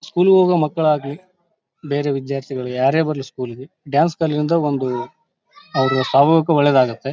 ಸ್ಕೂಲಿಗೆ ಹೋಗೋ ಮಕ್ಕಳ್ ಆಗಲಿ ಬೇರೆ ವಿದ್ಯಾರ್ಥಿಗಳು ಯಾರೇ ಬರಲ್ಲಿ ಸ್ಕೂಲಿಗೆ ಡಾನ್ಸ್ ಕಲಿಯೋದ್ ಇಂದ ಒಂದು ಅವರು ಸಾಮೂಹಿಕ ಒಳ್ಳೆದಾಗುತ್ತ.